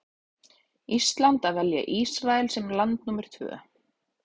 Íslands að velja Ísrael sem land númer tvö.